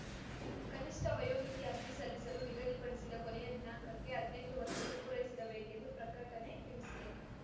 ಕನಿಷ್ಠ ವಯೋಮಿತಿ ಅರ್ಜಿ ಸಲ್ಲಿಸಲು ನಿಗದಿಪಡಿಸಿದ ಕೊನೆಯ ದಿನಾಂಕಕ್ಕೆ ಹದ್ನೆಂಟು ವರ್ಷಗಳು ಪೂರೈಸಿರಬೇಕೆಂದು ಪ್ರಕಟಣೆ ತಿಳಿಸಿದೆ